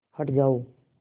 हट जाओ